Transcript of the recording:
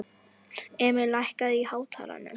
Emil, lækkaðu í hátalaranum.